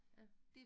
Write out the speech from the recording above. Ja